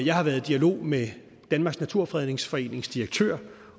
jeg har været i dialog med danmarks naturfredningsforenings direktør